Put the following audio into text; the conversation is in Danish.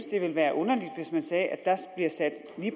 det ville være underligt hvis man sagde at